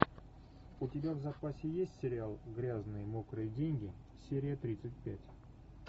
у тебя в запасе есть сериал грязные мокрые деньги серия тридцать пять